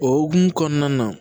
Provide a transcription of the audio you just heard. O hukumu kɔnɔna na